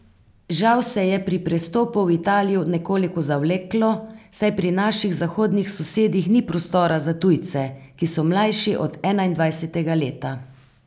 Žal se je pri prestopu v Italijo nekoliko zavleklo, saj pri naših zahodnih sosedih ni prostora za tujce, ki so mlajši od enaindvajsetega leta.